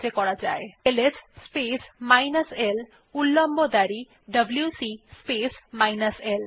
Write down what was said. লেখা যাক LS space minus l উল্লম্ব দাঁড়ি ডব্লিউসি স্পেস মাইনাস l